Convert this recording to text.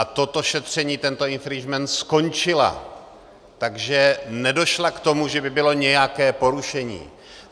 A toto šetření, tento infringement, skončila, takže nedošla k tomu, že by bylo nějaké porušení.